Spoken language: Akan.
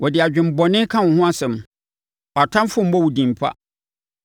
Wɔde adwemmɔne ka wo ho asɛm; wʼatamfoɔ mmɔ wo din pa.